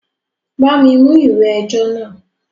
Bá mi mú ìwé ẹjọ́ náà!